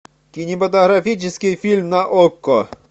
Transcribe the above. кинематографический фильм на окко